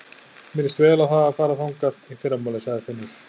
Mér líst vel á að fara þangað í fyrramálið, sagði Finnur.